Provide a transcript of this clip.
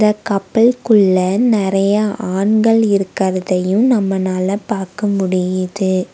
கப்பல்க்குள்ள நெறைய ஆண்கள் இருக்கறதையும் நம்மனால பாக்க முடியிது.